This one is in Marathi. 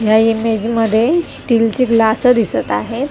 ह्या इमेज मध्ये स्टील ची ग्लास दिसत आहे.